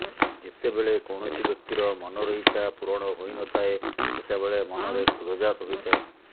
ଯେତେବେଳେ କୌଣସି ବ୍ୟକ୍ତିର ମନର ଇଚ୍ଛା ପୂରଣ ହୋଇନଥାଏ ସେତେବେଳେ ମନରେ କ୍ରୋଧ ଜାତ ହୋଇଥାଏ